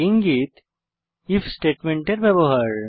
ইঙ্গিত ইফ স্টেটমেন্টের ব্যবহার